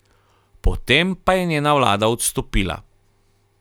Po tem pa je njena vlada odstopila.